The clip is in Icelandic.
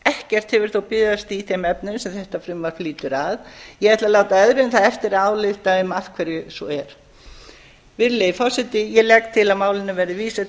ekkert hefur þó bifast í þeim efnum sem þetta frumvarp lítur að ég ætla að láta öðrum það eftir að álykta um af hverju svo er virðulegi forseti ég legg